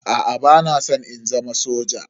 Aa bana san in zama soja.